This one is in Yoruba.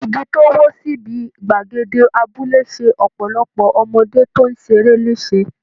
Igi tó wó síbi gbàgede abúlé ṣe ọ̀pọ̀lọpọ̀ ọmọdé tó ń ṣeré léṣe